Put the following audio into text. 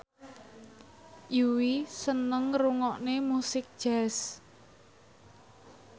Yui seneng ngrungokne musik jazz